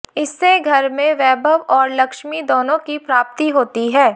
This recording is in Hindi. इससे घर मे वैभव और लक्ष्मी दोनो की प्राप्ति होती है